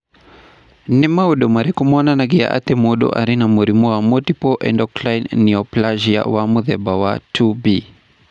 Nĩ maũndũ marĩkũ monanagia atĩ mũndũ arĩ na mũrimũ wa multiple endocrine neoplasia wa mũthemba wa 2B?